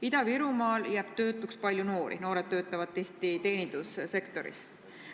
Ida-Virumaal jääb töötuks palju noori, noored töötavad tihti teenindussektoris.